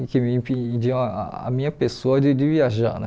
e que me impediu a minha pessoa de de viajar né.